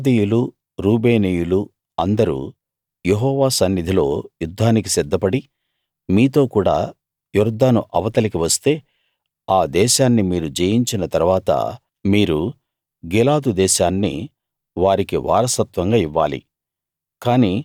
గాదీయులు రూబేనీయులు అందరూ యెహోవా సన్నిధిలో యుద్ధానికి సిద్దపడి మీతో కూడా యొర్దాను అవతలికి వస్తే ఆ దేశాన్ని మీరు జయించిన తరవాత మీరు గిలాదు దేశాన్ని వారికి వారసత్వంగా ఇవ్వాలి